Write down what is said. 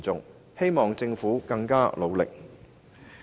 我希望政府加倍努力。